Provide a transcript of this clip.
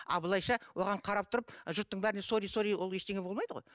а былайша оған қарап тұрып жұрттың бәріне сорри сорри ол ештеңе болмайды ғой